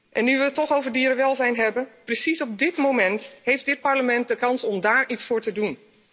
En nu we het toch over dierenwelzijn hebben, precies op dit moment heeft dit Parlement de kans om daar iets voor te doen.